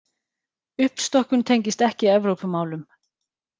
Uppstokkun tengist ekki Evrópumálum